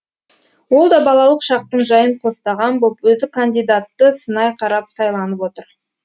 ол да балалық шақтың жайын қостаған боп өзі кандидатты сынай қарап сайланып отыр